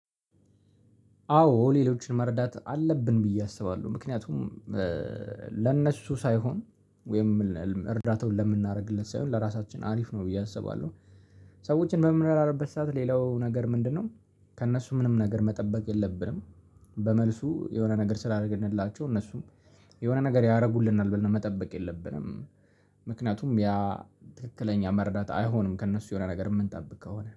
አዎ ሌሎችን መርዳት አለብን ብዬ አስባለሁ ምክንያቱም ለእነሱ ሳይሆን ወይም እርዳታውን ለምናደርግለት ሳይሆን ለራሳችን አሪፍ ነው ብዬ አስባለሁ። ሰዎችን በምናረድበት ሰዓት ሌላው ነገር ምንድነው? ከእነሱ ምንም ነገር መጠበቅ የለብንም። በመልሱ የሆነ ነገር ስላደረግንላቸው እነሱም የሆነ ነገር ያደርጉልናል ብለን መጠበቅ የለብንም። ምክንያቱም ያ ትክክለኛ መርዳት አይሆንም ከእነሱ የሆነ ነገር የምንጠብቅ ከሆነ